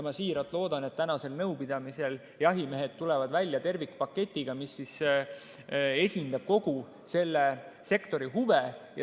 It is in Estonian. Ma siiralt loodan, et tänasel nõupidamisel jahimehed tulevad välja tervikpaketiga, mis esindab kogu selle sektori huve.